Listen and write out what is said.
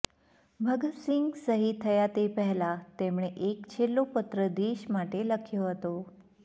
ભગત સિંહ શહીદ થયા તે પહેલા તેમણે એક છેલ્લો પત્ર દેશ માટે લખ્યો હતો